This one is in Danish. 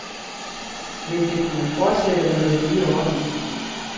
Vil det kunne fortsætte under den nye ordning?